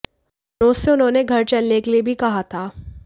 मनोज से उन्होंने घर चलने के लिए भी कहा था